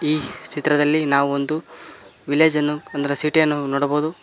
ಈ ಚಿತ್ರದಲ್ಲಿ ನಾವೊಂದು ವಿಲೇಜನ್ನು ಅಂದ್ರೆ ಸಿಟಿ ಯನ್ನು ನೋಡಬಹುದು.